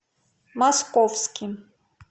московским